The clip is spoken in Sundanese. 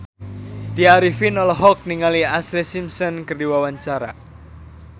Tya Arifin olohok ningali Ashlee Simpson keur diwawancara